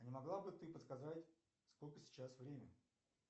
а не могла бы ты подсказать сколько сейчас время